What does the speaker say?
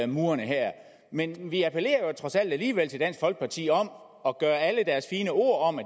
murene her men vi appellerer trods alt alligevel til dansk folkeparti om at gøre alle deres fine ord om at